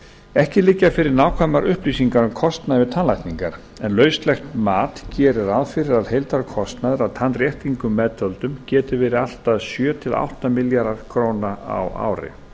ekki liggja fyrir nákvæmar upplýsingar um kostnað við tannlækningar en lauslegt mat gerir ráð fyrir að heildarkostnaður að tannréttingum meðtöldum geti verið allt að sjö átta milljarðar króna á ári